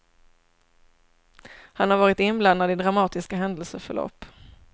Han har varit inblandad i dramatiska händelseförlopp.